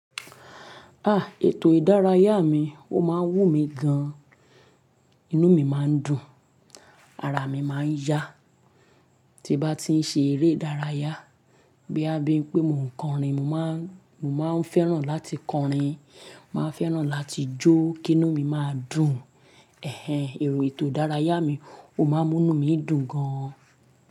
Ah! Ètò ìdárayá mi ó máa ń wù mí gan-an, inú mi máa ń dùn, ara mi máa ń yá, tí n bá ti ń ṣe eré ìdárayá, boyaa bi ń pé mò ń kọrin, mò máa ń fẹ́ràn láti kọrin, màá fẹ́ràn láti jó kí inú mi má dùn. Ẹ̀hẹn, èrò ètò ìdárayá mi ó máa ń mú inú mi dùn gan-an.